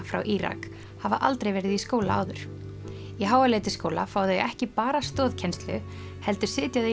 frá Írak hafa aldrei verið í skóla áður í fá þau ekki bara stoðkennslu heldur sitja þau